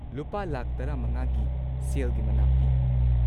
ꯂꯨꯄꯥ ꯱꯵,꯰꯰,꯰꯰꯰/- ꯒꯤ ꯁꯦꯜꯒꯤ ꯃꯅꯥ ꯄꯤ꯫